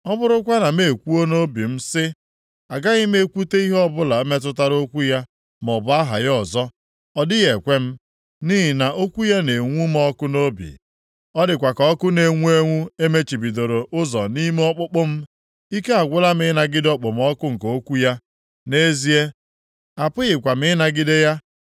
Ọ bụrụkwa na m ekwuo nʼobi m sị, “Agaghị m ekwute ihe ọbụla metụtara okwu ya maọbụ aha ya ọzọ.” Ọ dịghị ekwe m. Nʼihi na okwu ya na-enwu m ọkụ nʼobi. Ọ dịkwa ka ọkụ na-enwu enwu emechibidoro ụzọ nʼime ọkpụkpụ m. Ike agwụla m ịnagide okpomọkụ nke okwu ya. Nʼezie, apụghịkwa m ịnagide ya.